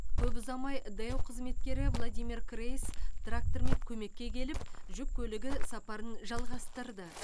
көп ұзамай дэу қызметкері владимир крейс трактормен көмекке келіп жүк көлігі сапарын жалғастырды